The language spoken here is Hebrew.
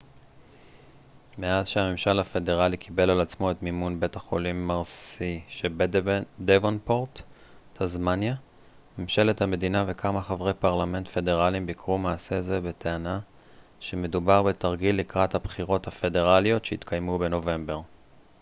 מאז שהממשל הפדרלי קיבל על עצמו את מימון בית החולים מרסי שבדבונפורט טסמניה ממשלת המדינה וכמה חברי פרלמנט פדרליים ביקרו מעשה זה בטענה שמדובר בתרגיל לקראת הבחירות הפדרליות שיתקיימו בנובמבר